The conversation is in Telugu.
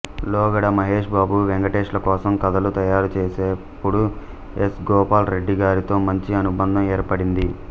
లోగడ మహేష్ బాబు వెంకటేష్ల కోసం కథలు తయారుచేసేప్పుడు ఎస్ గోపాల రెడ్డి గారితో మంచి అనుబంధం ఏర్పడింది